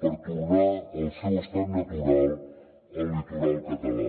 per tornar al seu estat natural el litoral català